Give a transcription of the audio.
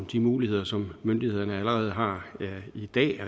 de muligheder som myndighederne allerede har i dag